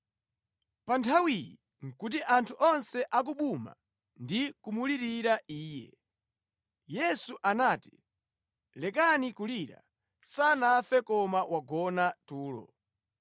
Pa nthawiyi nʼkuti anthu onse akubuma ndi kumulirira iye. Yesu anati, “Lekani kulira, sanafe koma wagona tulo.”